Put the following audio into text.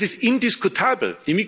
weniger Geld zu geben.